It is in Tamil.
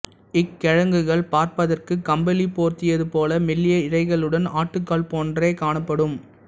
இக்கிழங்குகள் பார்ப்பதற்குக் கம்பளி போர்த்தியதுபோல மெல்லிய இழைகளுடன் ஆட்டுக்கால் போன்றே காணப்படும்